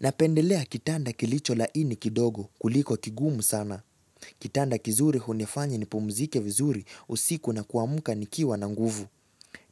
Napendelea kitanda kilicho laini kidogo kuliko kigumu sana. Kitanda kizuri hunifanya nipumzike vizuri usiku na kuamka nikiwa na nguvu.